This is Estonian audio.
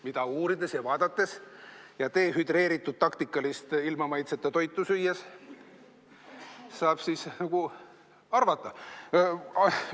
Seda uurides ja vaadates ja dehüdreeritud taktikalist ilma maitseta toitu süües saab siis arvata.